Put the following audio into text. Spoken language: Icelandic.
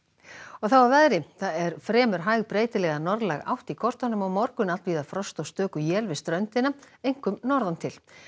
þá að veðri það er fremur hæg breytileg eða norðlæg átt í kortunum á morgun allvíða frost og stöku él við ströndina einkum norðan til